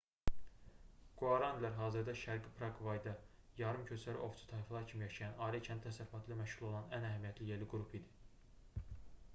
quaranilər hazırda şərqi praqvayda yarım-köçəri ovçu tayfalar kimi yaşayan ailə-kəndli təsərrüfatı ilə məşğul olan ən əhəmiyyətli yerli qrupu idi